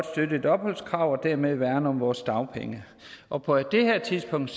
støtte et opholdskrav og dermed værne om vores dagpenge og på det her tidspunkt